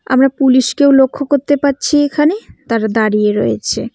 আমরা পুলিশ -কেও লক্ষ্য করতে পারছি এখানে তারা দাঁড়িয়ে রয়েছে।